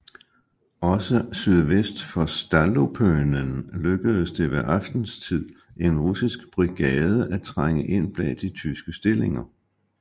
Også sydvest for Stallupönen lykkedes det ved aftenstid en russisk brigade at trænge ind bag de tyske stillinger